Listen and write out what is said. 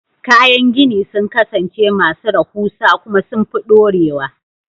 Kayan gini sun kasance masu rahusa kuma sun fi dorewa.